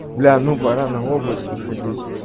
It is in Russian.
бля ну пора на область выходить